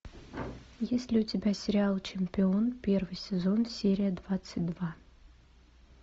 есть ли у тебя сериал чемпион первый сезон серия двадцать два